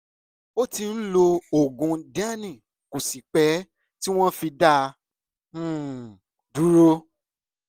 ó ti ń lo oògùn diane kò sì pẹ́ tí wọ́n fi dá a um dúró